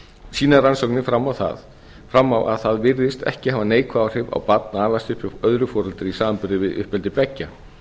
sýna rannsóknir fram á að það virðist ekki hafa neikvæð áhrif á barn að alast upp hjá öðru foreldri í samanburði við uppeldi beggja